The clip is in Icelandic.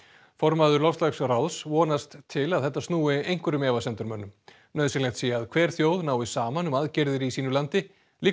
formaður vonast til að þetta snúi einhverjum efasemdarmönnum nauðsynlegt sé að hver þjóð nái saman um aðgerðir í sínu landi líka